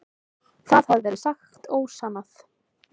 Það hafi verið sagt ósannað.